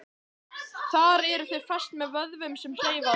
Þar eru þau fest með vöðvum sem hreyfa þau.